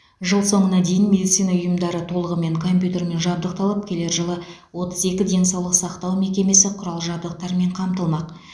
жыл соңына дейін медицина ұйымдары толығымен компьютермен жабдықталып келер жылы отыз екі денсаулық сақтау мекемесі құрал жабдықтармен қамтылмақ